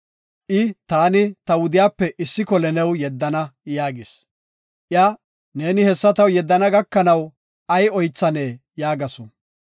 I, “Taani ta mehiyape issi kole new yeddana” yaagis. Iya, “Neeni hessa taw yeddana gakanaw ay oythanee?” yaagasu.